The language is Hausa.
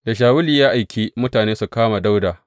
Da Shawulu ya aiki mutane su kama Dawuda.